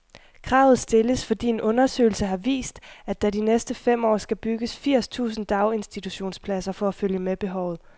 Kravet stilles, fordi en undersøgelse har vist, at der de næste fem år skal bygges firs tusind daginstitutionspladser for at følge med behovet.